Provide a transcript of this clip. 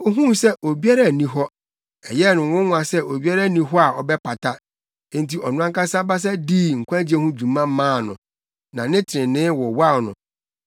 Ohuu sɛ obiara nni hɔ, ɛyɛɛ no nwonwa sɛ obiara nni hɔ a ɔbɛpata; enti ɔno ankasa basa dii nkwagye ho dwuma maa no, na ne trenee wowaw no.